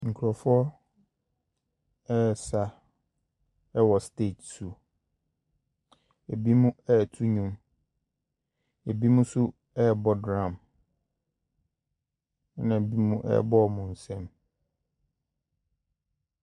Nkurɔfoɔ baasa wɔ stage so. Ebinom reto nnwom. Ebinom nso rebɔ drum, ɛnna ebinom rebɔ wɔn nsam.